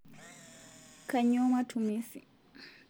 Kainyoo matumisi